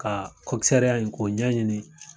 Ka in ko ɲɛɲini.